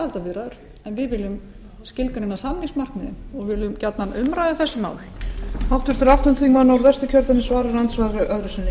aðildarviðræður en við viljum skilgreina samningsmarkmiðin og við viljum gjarnan umræðu um þessi mál